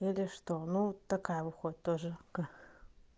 или что ну такая выходит тоже к